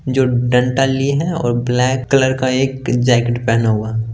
जो डनटन लिए है और ब्लैक कलर का एक जैकेट